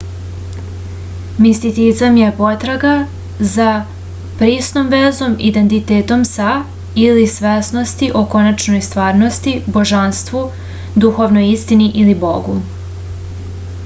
misticizam je potraga za prisnom vezom identitetom sa ili svesnosti o konačnoj stvarnosti božanstvu duhovnoj istini ili bogu